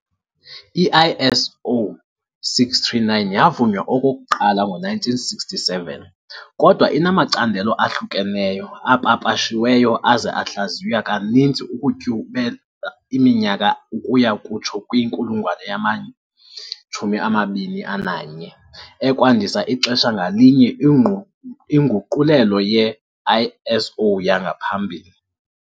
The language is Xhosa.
I-ISO 639 yavunywa okokuqala ngo-1967, kodwa inamacandelo ahlukeneyo apapashiweyo aza ahlaziywa kaninzi ukutyhubela iminyaka ukuya kutsho kwinkulungwane yama-21, ekwandisa ixesha ngalinye inguqulelo ye-ISO yangaphambili.